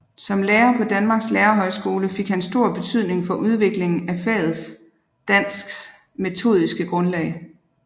Som lærer på Danmarks Lærerhøjskole fik han stor betydning for udviklingen af faget dansks metodiske grundlag